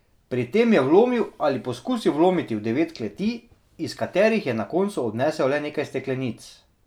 Pri tem je vlomil ali poskusil vlomiti v devet kleti, iz katerih je na koncu odnesel le nekaj steklenic.